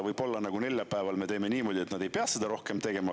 Võib-olla neljapäeval me teeme niimoodi, et nad ei pea seda rohkem tegema.